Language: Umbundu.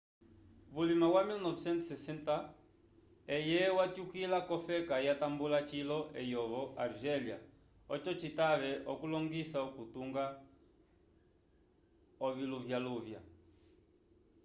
vulima wa 1960 eye watyukila k'ofeka yatambula cilo eyovo argélia oco citave okulongoisa okutunga oviluvyaluvya